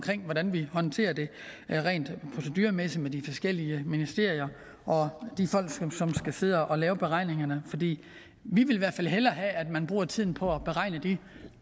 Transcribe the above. hvordan vi håndterer det rent proceduremæssigt med de forskellige ministerier og de folk som skal sidde og lave beregningerne for vi vil i hvert fald hellere have at man bruger tiden på at beregne de